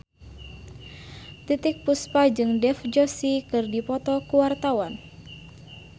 Titiek Puspa jeung Dev Joshi keur dipoto ku wartawan